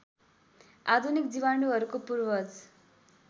आधुनिक जीवाणुहरूको पूर्वज